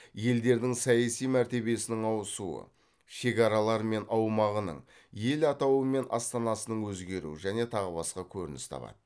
елдердің саяси мәртебесінің ауысуы шекаралары мен аумағының ел атауы мен астанасының өзгеруі және тағы басқа көрініс табады